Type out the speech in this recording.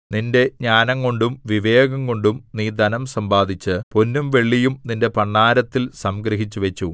നിന്റെ ജ്ഞാനംകൊണ്ടും വിവേകംകൊണ്ടും നീ ധനം സമ്പാദിച്ച് പൊന്നും വെള്ളിയും നിന്റെ ഭണ്ഡാരത്തിൽ സംഗ്രഹിച്ചുവച്ചു